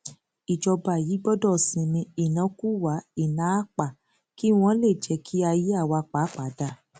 ìjọba yìí gbọdọ sinmi ìnákúwà ináapá kí wọn lè jẹ kí ayé àwa pàápàá dáa